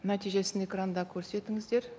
нәтижесін экранда көрсетіңіздер